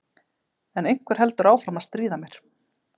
En einhver heldur áfram að stríða mér